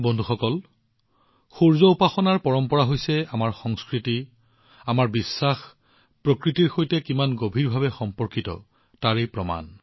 বন্ধুসকল সূৰ্যক উপাসনা কৰাৰ পৰম্পৰা হৈছে আমাৰ সংস্কৃতি আমাৰ বিশ্বাস প্ৰকৃতিৰ সৈতে কিমান গভীৰ তাৰ প্ৰমাণ